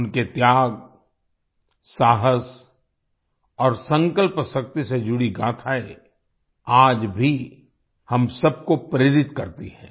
उनके त्याग साहस और संकल्पशक्ति से जुड़ी गाथाएँ आज भी हम सबको प्रेरित करती हैं